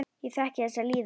Ég þekki þessa líðan.